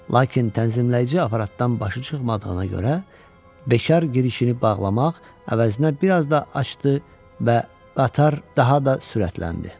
Lakin tənzimləyici aparatdan başı çıxmadığına görə bekar girişini bağlamaq əvəzinə bir az da açdı və qatar daha da sürətləndi.